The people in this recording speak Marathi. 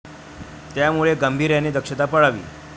त्यामुळे गांभीर्याने दक्षता पाळावी.